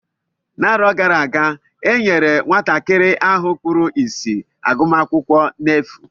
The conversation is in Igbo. N'arọ gara aga e nyere nwatakịrị ahụ kpụrụ isi agụmakwụkwọ efu.